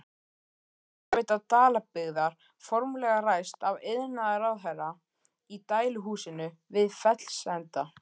Hitaveita Dalabyggðar formlega ræst af iðnaðarráðherra í dæluhúsinu við Fellsenda.